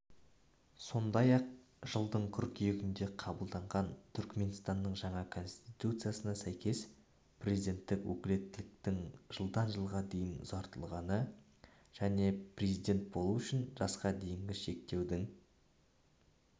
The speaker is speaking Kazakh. сондай-ақ жылдың қыркүйегінде қабылданған түрікменстанның жаңа конституциясына сәйкес президенттік өкілеттіктің жылдан жылға дейін ұзартылғаны және президент болу үшін жасқа дейінгі шектеудің